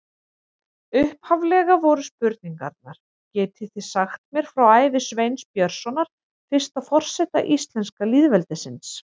Upphaflega voru spurningarnar: Getið þið sagt mér frá ævi Sveins Björnssonar, fyrsta forseta íslenska lýðveldisins?